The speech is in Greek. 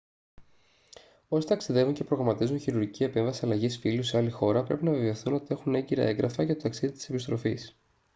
όσοι ταξιδεύουν και προγραμματίζουν χειρουργική επέμβαση αλλαγής φύλου σε άλλη χώρα πρέπει να βεβαιωθούν ότι έχουν έγκυρα έγγραφα για το ταξίδι της επιστροφής